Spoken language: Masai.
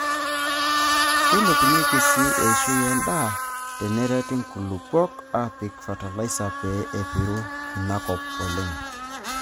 Keilepunyieki sii eishoi endaa tenerati nkulupuok aapik fatalaisa pee Epiru ina kop oleng.